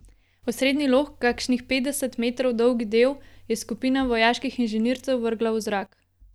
Osrednji lok, kakšnih petdeset metrov dolgi del, je skupina vojaških inženircev vrgla v zrak.